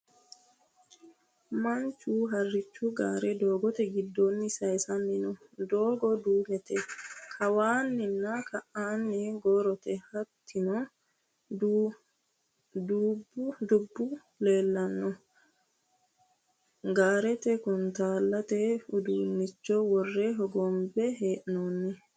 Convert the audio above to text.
Manchu harrichu gaare doogote giddoonni sayisanni no. Doogo duumete. Kawanna ka"aanni gorootta hattono dubbu leellanno. gaarete kuntaalate udiinnicho worre hogonbe hee'noonni.